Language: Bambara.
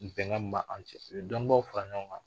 Bɛnkan min bɛ aw cɛ dɔnnibaw fara ɲɔgɔn kan